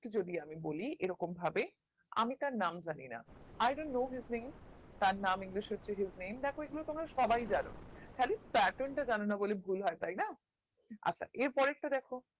যদি আমি বলি এরকম ভাবে আমি তার নাম জানি না I don't know his name তার নাম english সূত্রে নেম দ্যাখো এগুলো সবাই জানো খালি Pattern টা জানো না বলে ভুল হয় তাই না আচ্ছা এর পরের টা দ্যাখো